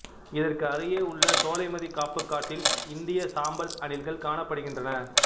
இதற்கு அருகே உள்ள சோலைமதி காப்புக் காட்டில் இந்திய சாம்பல் அணில்கள் காணப்படுகின்றன